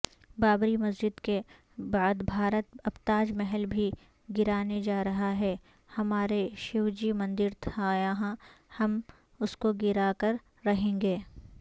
بابری مسجدکے بعدبھارت اب تاج محل بھی گرانے جارہاہے ہمارے شیوجی مندرتھایہاں ہم اسکوگراکررہیں گے